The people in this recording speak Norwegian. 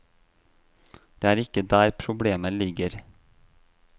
Det er ikke der problemet ligger.